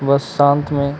वह शांत में--